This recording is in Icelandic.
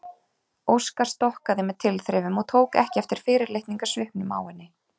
Óskar stokkaði með tilþrifum og tók ekki eftir fyrirlitningarsvipnum á henni.